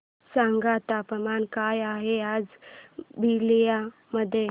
सांगा तापमान काय आहे आज बलिया मध्ये